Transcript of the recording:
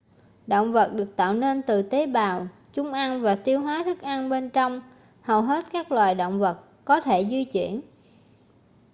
động vật được tạo nên từ tế bào chúng ăn và tiêu hóa thức ăn bên trong hầu hết các loài động vật có thể di chuyển